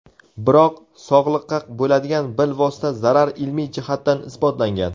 Biroq, sog‘liqqa bo‘ladigan bilvosita zarar ilmiy jihatdan isbotlangan.